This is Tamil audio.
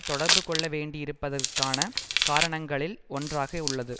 தொடர்பு கொள்ள வேண்டி இருப்பதற்கான காரணங்களில் ஒன்றாக உள்ளது